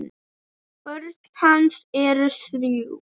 Börn hans eru þrjú.